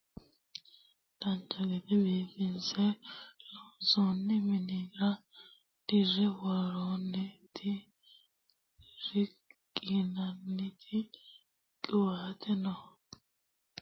dancha gede biifinse loonsoonni minira dirre worroonniti riqqinanniti qiwaateno no wolurino noowa wodhate injaanno gede biifinse loonsoonnihonna biifado mineeti yaate